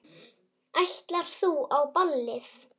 Ætlar þú á ballið?